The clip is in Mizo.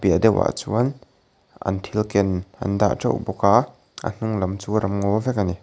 piah deuh ah chuan an thil ken an dah teuh bawk a a hnunglam chu ram ngaw vek a ni.